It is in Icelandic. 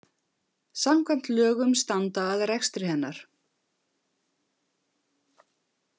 Samkvæmt lögum standa að rekstri hennar.